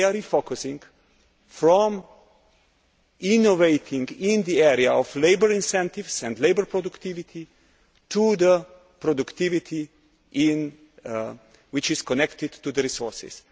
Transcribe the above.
They are refocusing from innovating in the area of labour incentives and labour productivity to productivity which is connected to the resources.